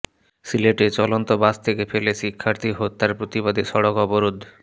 সিলেটে চলন্ত বাস থেকে ফেলে শিক্ষার্থী হত্যার প্রতিবাদে সড়ক অবরোধ